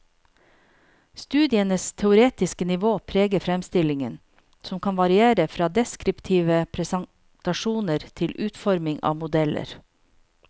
Studienes teoretiske nivå preger fremstillingen, som kan variere fra deskriptive presentasjoner til utforming av modeller.